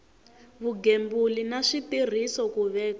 vugembuli na switirhiso ku veka